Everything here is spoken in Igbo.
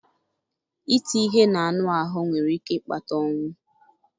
iti ihe n'anụ ahụ́ nwere ike ịkpata ọnwụ.